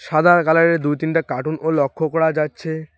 সাদা কালারের দুই তিনটি কার্টুনও লক্ষ্য করা যাচ্ছে।